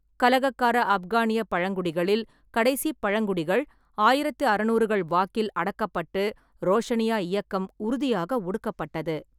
கலகக்கார ஆப்கானியப் பழங்குடிகளில் கடைசிப் பழங்குடிகள் ஆயிரத்து அறுநூறு வாக்கில் அடக்கப்பட்டு ரோஷனியா இயக்கம் உறுதியாக ஒடுக்கப்பட்டது.